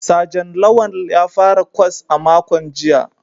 Sajan Lawal ya fara kwas a makon jiya